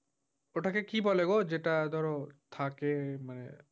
ওটাকে কী বলে গো যেটা ধর থাকে? মানে,